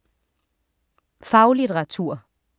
Faglitteratur